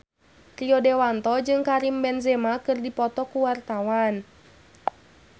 Rio Dewanto jeung Karim Benzema keur dipoto ku wartawan